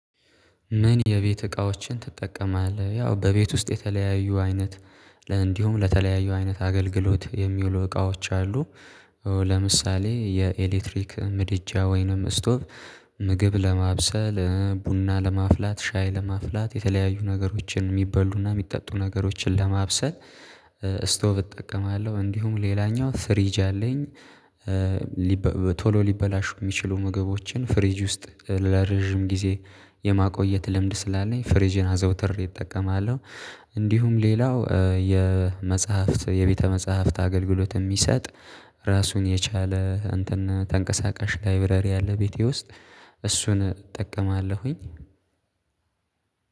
ምን የቤት እቃዎችን ትጠቀማለ? ያው በቤት ውስጥ የተለያዩ አይነት እንዲሁም ለተለያዩ አይነት አገልግሎት የሚውሉ እቃዎች አሉ፤ ለምሳሌ የኤሌክትሪክ ምድጃ ወይንም ስቶቭ ምግብ ለማብሰል ቡና ለማፍላት ሻይ ለማፍላት የተለያዩ ነገሮችን የሚበሉና የሚጠጡ ነገሮችን ለማብሰል ስቶ ብጠቀማለሁ እንዲሁም ሌላኛው ስር ይዣለኝ ቶሎ ሊበላሹ የሚችሉ ምግቦችን ፍሪጅ ውስጥ ለረጅም ጊዜ የማቆየት ልምድ ስላለኝ ፍሪዥን አዘውትር እጠቀማለሁ እንዲሁም ሌላው የመጽሐፍት የቤተ መጽሐፍት አገልግሎት የሚሰጥ ራሱን የቻለ እንትን ተንቀሳቃሽ ላይብረሪ አለ ቤቴ ውስጥ እሱን እጠቀማለሁኝ